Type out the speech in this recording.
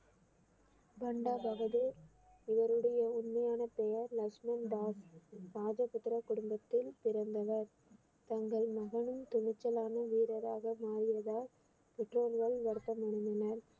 பண்டா பகதூர் இவருடைய உண்மையான பெயர் லட்சுமணன் தாஸ் ராஜபுத்திர குடும்பத்தில் பிறந்தவர் தங்கள் மகனும் துணிச்சலான வீரராக மாறியதால் பெற்றோர்கள் வருத்தம் அடைந்தனர்